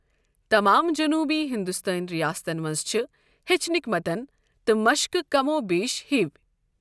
تمام جنوبی ہندوستٲنی ریاستن منٛز چھِ ہیچھنٕکۍ متن تہٕ مشقہٕ کم و بیش ہِوِی۔